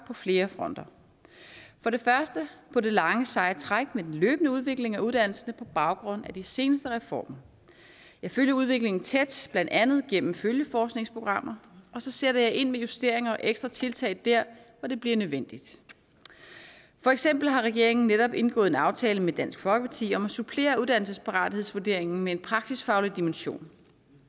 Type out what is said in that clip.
på flere fronter for det første på det lange seje træk med løbende udvikling af uddannelse på baggrund af de seneste reformer jeg følger udviklingen tæt blandt andet gennem følgeforskningsprogrammer og så sætter jeg investeringer og ekstra tiltag der hvor det bliver nødvendigt for eksempel har regeringen netop indgået en aftale med dansk folkeparti om at supplere uddannelsesparathedsvurderingen med en praksisfaglig dimension